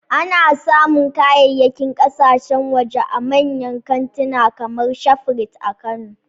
Ana samun kayayyakin kasashen waje a manyan kantika kamar Shafrit a Kano